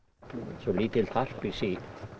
svo lítið harpix í